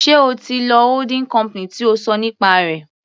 Sé o ti lọ holding company tí o ṣọ nípa rẹ̀.